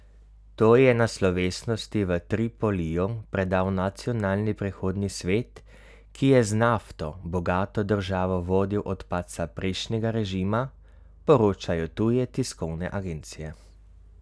To ji je na slovesnosti v Tripoliju predal nacionalni prehodni svet, ki je z nafto bogato državo vodil od padca prejšnjega režima, poročajo tuje tiskovne agencije.